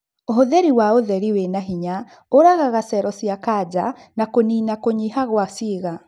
Ũhũthĩri wa ũtheri wĩna hinya ũragaga cero cia kanja na kũnina kũnyiha gwa ciĩga